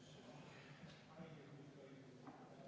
Henn Põlluaas, palun!